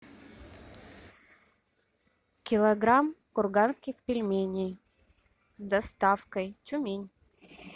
килограмм курганских пельменей с доставкой тюмень